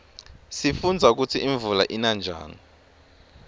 sifundza kutsi imvula ina njani